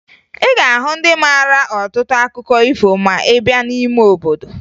Ị ga-ahụ ndị mara ọtụtụ akụkọ ifo ma ị baa n'ime obodo